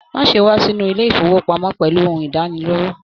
Má ṣe wà sínú ilé ifowopamọ pẹlú ohùn idaniloro.